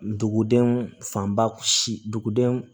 Dugudenw fanba sidenw